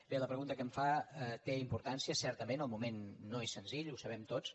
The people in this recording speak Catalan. bé la pregunta que em fa té importància certament el moment no és senzill ho sabem tots